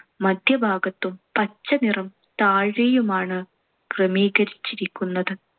മധ്യ ഭാഗത്തും പച്ചനിറം താഴെയുമാണ് ക്രമീകരിച്ചിരിക്കുന്നത്.